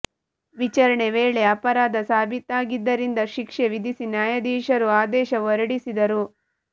ವಿಚಾರಣೆ ವೇಳೆ ಅಪರಾಧ ಸಾಬೀತಾಗಿದ್ದರಿಂದ ಶಿಕ್ಷೆ ವಿಧಿಸಿ ನ್ಯಾಯಾಧೀಶರು ಆದೇಶ ಹೊರಡಿಸಿದರು